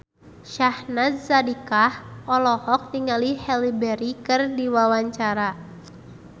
Syahnaz Sadiqah olohok ningali Halle Berry keur diwawancara